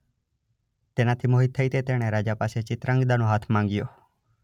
તેનાથી મોહીત થઈ તે તેણે રાજા પાસે ચિત્રાંગદાનો હાથ માંગ્યો.